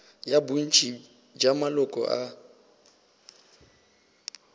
ya bontši bja maloko a